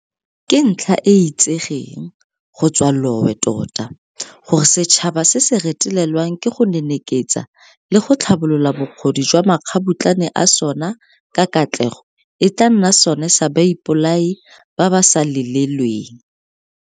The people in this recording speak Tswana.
Ke ntlha e e itsegeng go tswa lowe tota gore setšhaba se se retelelwang ke go neneketsa le go tlhabolola bokgoni jwa makgabutlane a sona ka katlego e tla nna sona sa baipolai ba ba sa lelelweng.